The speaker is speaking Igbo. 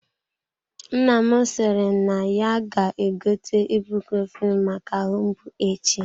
Nna m sịrị na ya ga-egote ibucrofen maka ahụ mgbu echi.